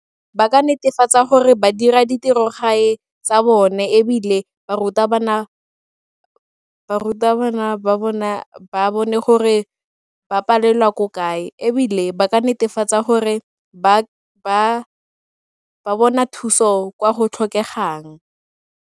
Ba ka netefatsa gore ba dira ditirogae tsa bone ebile barutabana ba bona ba bone gore ba palelwa ko kae ebile ba ka netefatsa gore ba bona thuso kwa go tlhokegang.